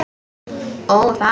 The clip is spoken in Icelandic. Ó, það!